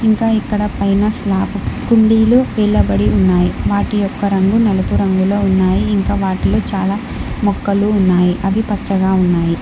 ఇంకా ఇక్కడ పైన స్లాప్ కుండీలు నిలబడి ఉన్నాయి వాటి యొక్క రంగు నలుపు రంగులో ఉన్నాయి ఇంకా వాటిలో చాలా మొఖలు ఉన్నాయి అవి పచ్చగా ఉన్నాయి.